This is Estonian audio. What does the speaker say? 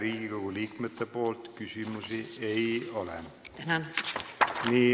Riigikogu liikmetel teile küsimusi ei ole.